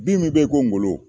Bi min be yen ko ngolo